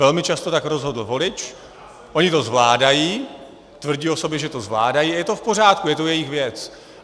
Velmi často tak rozhodl volič, oni to zvládají, tvrdí o sobě, že to zvládají, je to v pořádku, je to jejich věc.